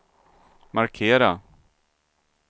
markera